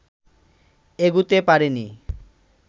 এগুতে পারেনি